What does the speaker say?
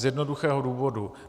Z jednoduchého důvodu.